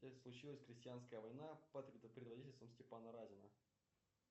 случилась крестьянская война под предводительством степана разина